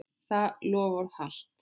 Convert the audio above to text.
Það loforð halt.